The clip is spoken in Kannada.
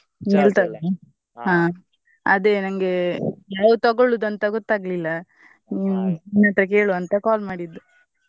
ನಿಲ್ತದಾ? ಹಾ ಅದೇ ನಂಗೆ ಯಾವ್ದು ತಗೊಳುದು ಅಂತ ಗೊತ್ತಾಗ್ಲಿಲ್ಲಾ ನಿಮ್ಮ ಹತ್ರ ಕೇಳುವಾ ಅಂತಾ call ಮಾಡಿದ್ದು.